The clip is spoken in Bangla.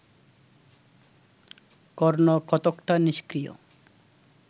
কর্ণ কতকটা নিষ্ক্রিয়